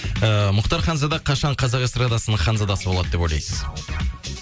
ііі мұхтар ханзада қашан қазақ эстрадасының ханзадасы болады деп ойлайсыз